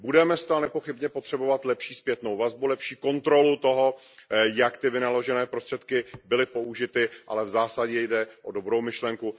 Budeme zcela nepochybně potřebovat lepší zpětnou vazbu, lepší kontrolu toho, jak ty vynaložené prostředky byly použity, ale v zásadě jde o dobrou myšlenku.